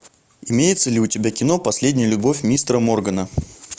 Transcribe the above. имеется ли у тебя кино последняя любовь мистера моргана